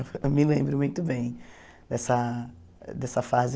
Eu me lembro muito bem dessa dessa fase.